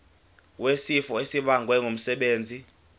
wesifo esibagwe ngumsebenzi